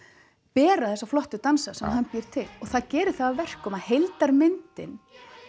bera þessa flottu dansa sem hann býr til og það gerir það að verkum að heildarmyndin